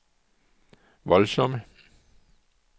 voldsomme